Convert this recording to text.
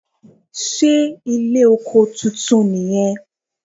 Ṣé ilé oko titun nì yan